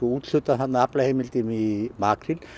úthlutað aflaheimildum í makríl